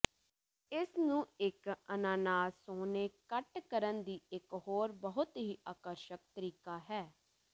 ਇਸ ਨੂੰ ਇੱਕ ਅਨਾਨਾਸ ਸੋਹਣੇ ਕੱਟ ਕਰਨ ਦੀ ਇਕ ਹੋਰ ਬਹੁਤ ਹੀ ਆਕਰਸ਼ਕ ਤਰੀਕਾ ਹੈ